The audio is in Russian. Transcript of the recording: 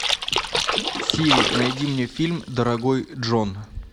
сири найди мне фильм дорогой джон